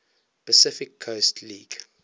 pacific coast league